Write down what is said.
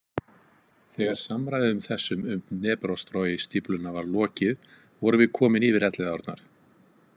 Þegar samræðum þessum um Dneprostroi- stífluna var lokið vorum við komin yfir Elliðaárnar.